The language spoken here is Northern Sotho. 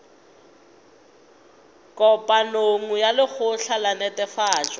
kopanong ya lekgotla la netefatšo